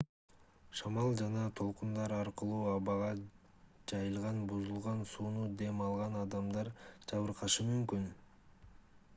шамал жана толкундар аркылуу абага жайылган бузулган сууну дем алган адамдар жабыркашы мүмкүн